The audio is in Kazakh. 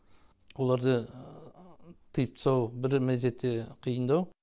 оларды тиып тастау бір мезетте қиындау